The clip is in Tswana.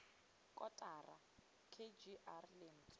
kotara k g r lentswe